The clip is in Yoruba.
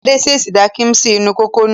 Adé ṣèṣì da kíḿṣì inú kòkò nù.